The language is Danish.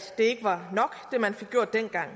det man fik gjort dengang